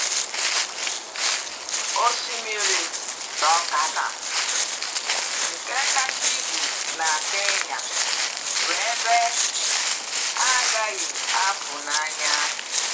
Osimiri Turkana, nke kacha ibu na Kenya, bụ ebe a gaghị apụ n’anya.